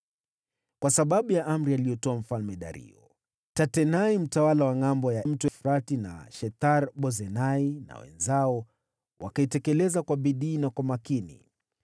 Kwa sababu ya amri aliyotoa Mfalme Dario, Tatenai mtawala wa Ngʼambo ya Mto Frati na Shethar-Bozenai na wenzao wakaitekeleza kwa bidii na kwa makini.